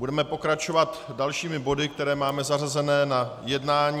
Budeme pokračovat dalšími body, které máme zařazené na jednání.